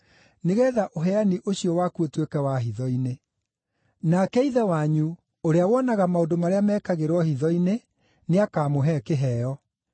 nĩgeetha ũheani ũcio waku ũtuĩke wa hitho-inĩ. Nake Ithe wanyu, ũrĩa wonaga maũndũ marĩa mekagĩrwo hitho-inĩ, nĩakamũhe kĩheo.